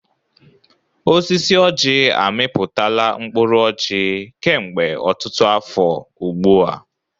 Osisi ọjị amịpụtala mkpụrụ ọjị kemgbe ọtụtụ afọ ugbu a.